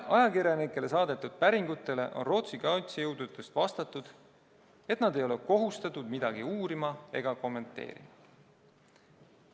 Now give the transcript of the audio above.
Ajakirjanike saadetud päringutele on Rootsi kaitsejõududest vastatud, et nad ei ole kohustatud midagi uurima ega kommenteerima.